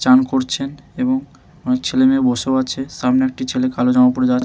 চান করছেন এবং অনেক ছেলে মেয়ে বসেও আছে সামনে একটি ছেলে কালো জামা পড়ে যা--